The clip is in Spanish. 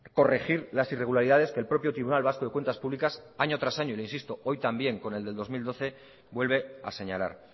corregir las irregularidad que el propio tribunal vasco de cuentas públicas año tras año y le insisto hoy también con el del dos mil doce vuelve a señalar